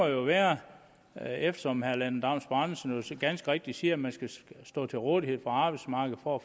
jo være eftersom herre lennart andersen så ganske rigtigt siger at man skal stå til rådighed for arbejdsmarkedet for at